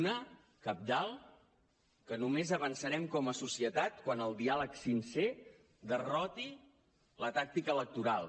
una cabdal que només avançarem com a societat quan el diàleg sincer derroti la tàctica electoral